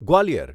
Gwalior